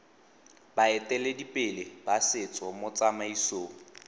baeteledipele ba setso mo tsamaisong